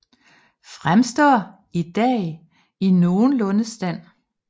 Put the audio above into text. Fremstår i dag i nogenlunde stand